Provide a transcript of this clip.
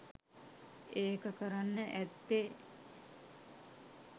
ඒක කරන්න ඇත්තෙ